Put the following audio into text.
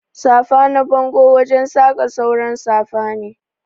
Safa na bango wajen saka sauran safa ne.